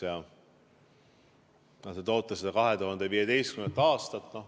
Te toote seda 2015. aastat.